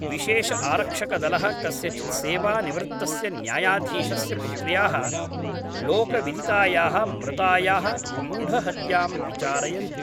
विशेषआरक्षकदलः कस्यचित् सेवानिवृत्तस्य न्यायाधीशस्य पुत्र्याः लोकविदितायाः मृतायाः गूढहत्यां विचारयन्ति